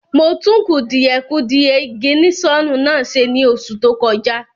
Mo tún kùdìẹ̀kudie ìgìnísọ̀nù náà ṣe ní oṣù tó kọjá